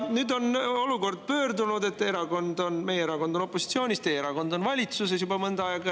Nüüd on olukord pöördunud: meie erakond on opositsioonis, teie erakond on valitsuses juba mõnda aega.